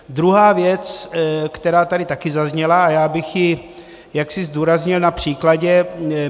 Druhá věc, která tady také zazněla, a já bych ji jaksi zdůraznil na příkladě.